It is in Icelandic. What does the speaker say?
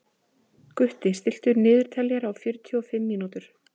Gutti, stilltu niðurteljara á fjörutíu og fimm mínútur.